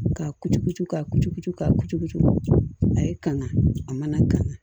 Ka kucukucu ka kucucu ka kucu a ye kanga a mana kan